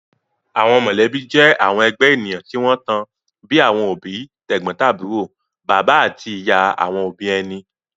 Àwọn mọ̀lẹ́bí jẹ́ àwọn ẹgbẹ́ ènìyàn tí wọ́n tan, bíi àwọn òbí, tẹ̀gbọ́ntàbúrò, bàbá àti ìyá àwọn òbí ẹni